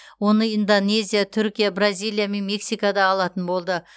оны индонезия түркия бразилия мен мексика да алатын болды